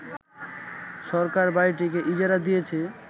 সরকার বাড়িটিকে ইজারা দিয়েছে